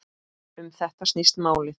Um þetta snýst málið.